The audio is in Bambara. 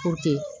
Ko ten